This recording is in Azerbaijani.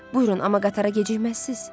Buyurun, amma qatara gecikməzsiz?